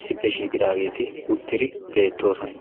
issippe shiiqqidaageeti uttidi beettoosona.